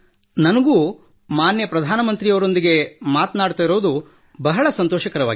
ನನಗೂ ಮಾನ್ಯ ಪ್ರಧಾನ ಮಂತ್ರಿಗಳೊಂದಿಗೆ ಮಾತನಾಡುತ್ತಿರುವುದಕ್ಕೆ ಬಹಳ ಸಂತೋಷವಾಗಿದೆ